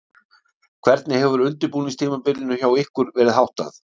Hvernig hefur undirbúningstímabilinu hjá ykkur verið háttað?